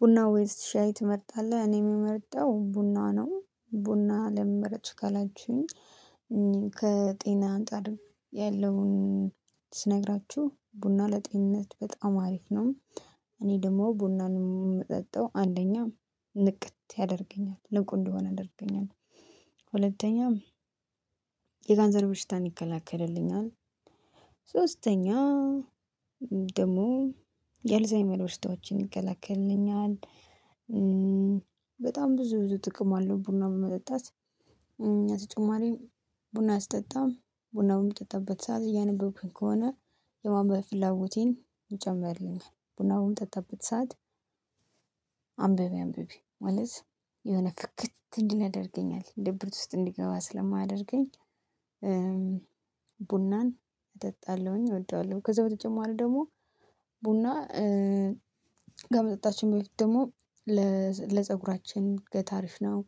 ቡና ወይስ ሻይ ትመርጣለህ እኔ እምመርጠው ቡና ነው ቡና ለምን መረጥሽ ካላችሁኝ? ከጤና አንፃር ያለውን ስነግራችሁ ቡና ለጤንነት በጣም አሪፍ ነው። እኔ ደግሞ ቡናን እምጠጣው አንደኛ ንቅት ያደርገኛል ንቁ እንድሆን ያደርገኛል። ሁለተኛም የካንሰር ብሽታን ይከላከልልኛል። ሶስተኛ ደግሞ የአልዛይመር በሽታዎችን ይከላከልልኛል። በጣም ብዙ ብዙ ጥቅም አለው ብና መጠጣት። አንደኛ ተጨማሪ ብና ሰጠጣ ብና በምጠጣበት ሰዓት እያነበብኩኝ ከሆነ የማንበብ ፍላቦቴን ይጨምርልኛለን። ቡና በምጠጣበት ሰዓት አንብቢ አንብቢ ማለት የሆነ ፍክት እንድል ያደርገኛል ድብርት ውስጥ እንድገባ ስለማያደርገኝ። ቡናን እጠጣለሁኝ እወደዋለሁ። ከዛ በተጨማሪ ደግሞ ቡና ከመጠጣችኝ በፊት ደግሞ ለፀጉራችን እድገት አሪፍ ነው።